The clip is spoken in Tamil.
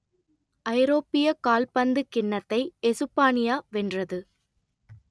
ஐரோப்பியக் கால்பந்துக் கிண்ணத்தை எசுப்பானியா வென்றது